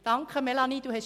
Danke, Melanie Beutler.